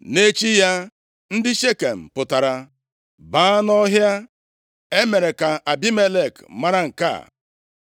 Nʼechi ya, ndị Shekem pụtara baa nʼọhịa. E mere ka Abimelek mara nke a.